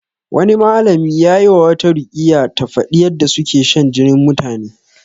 Wani malami yayi wa wata ruƙiyya ta faɗi yadda suke shan jinin mutane